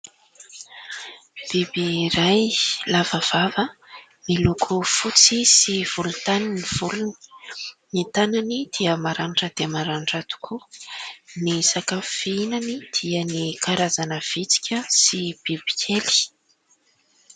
Biby iray lava vava, miloko fotsy sy volontany ny volony. Ny tanany dia maranitra dia maranitra tokoa. Ny sakafo fihinany dia ny karazana vitsika sy bibikely.